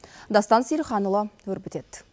дастан сейілханұлы өрбітеді